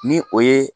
Ni o ye